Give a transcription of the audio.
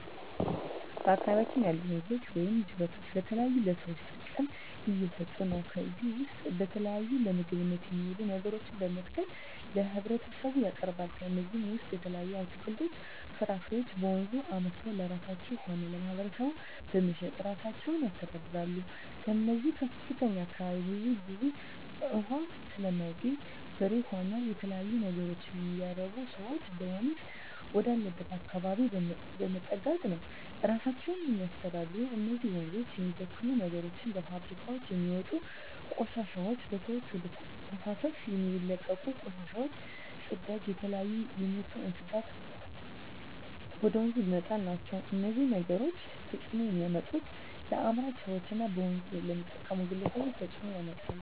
በአካባቢያችን ያሉ ወንዞች ወይም ጅረቶች ለተለያዩ ለሰዎች ጥቅም እየሠጡ ነው ከዚህ ውስጥ የተለያዩ ለምግብነት የሚውሉ ነገሮችን በመትከል ለህብረተሰቡ ያቀርባሉ ከነዚህም ውሰጥ የተለያዩ አትክልቶች ፍራፍሬዎችን በወንዙ አምርተው ለራሳቸው ሆነ ለማህበረሰቡ በመሸጥ እራሳቸውን ያስተዳድራሉ ከዚው ከእኛ አካባቢም ብዙ ግዜ እውሃ ስለማይገኝ በሬ ሆነ የተለያዩ ነገሮች የሚያረቡ ሰዎች ወደወንዝ ወዳለበት አካባቢ በመጠጋት ነው እራሳቸውን የሚያስተዳድሩ እነዚህ ወንዞች የሚበክሉ ነገሮች በፋብሪካውች የሚወጡ ቆሻሾች በሰዎች ወደ ተፋሰሶች የሚለቀቁ ቆሻሻ ጽዳጅ የተለያዩ የምቱ እንስሳትን ወደ ወንዙ መጣል ናቸው እነዚህ ነገሮች ተጽዕኖ የሚያመጡት ለአምራች ሰዎች እና በወንዞች ለሚጠቀሙ ግለሰቦች ተጽእኖ ያመጣል